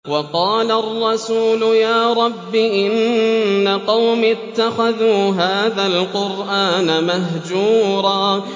وَقَالَ الرَّسُولُ يَا رَبِّ إِنَّ قَوْمِي اتَّخَذُوا هَٰذَا الْقُرْآنَ مَهْجُورًا